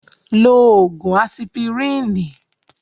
Lo ògùn asipirínì.